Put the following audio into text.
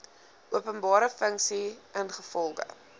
openbare funksie ingevolge